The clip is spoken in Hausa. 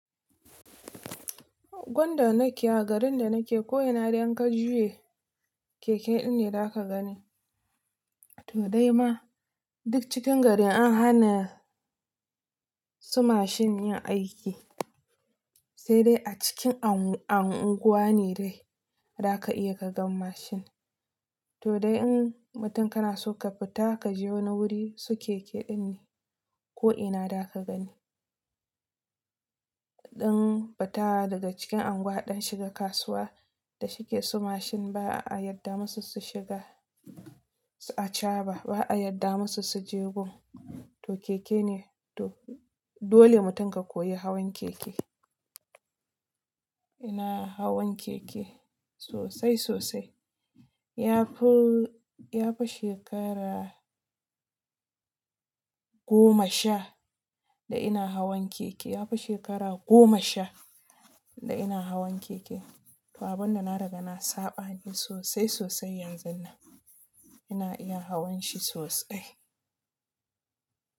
Gunda nake a garin da nake ko ina idan ka juya keke din ne za ka gani. To dai ma duk cikin garin an hana su mashin yin aiki, sai dai a cikin anguwa ne dai za ka iya ka gan mashin. To dai in mutum kana so ka fita ka je wani wuri su keke din ne ko ina za ka gani. In mun fita daga cikin anguwa don shiga kasuwa da shike su mashin ba a yadda musu su shiga aca ba, ba a yadda musu su jegu ba. To keke ne dole mutum ka koyi hawan keke. Ina hawan keke sosai sosai. Ya fu ya fi shekara goma sha da ina hawan keke. Ya fi shekara goma sha da ina hawan keke. To abun da na riga na saba ne sosai sosai yanzun nan. Ina iya hawan shi sosai.